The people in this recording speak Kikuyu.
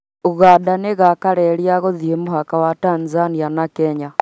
Ũganda nĩ igwaka reri ya gũthii mũhaka wa Tanzania na kenya